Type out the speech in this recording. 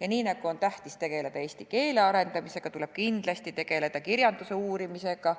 Ja nii nagu on tähtis tegeleda eesti keele arendamisega, tuleb kindlasti tegeleda ka kirjanduse uurimisega,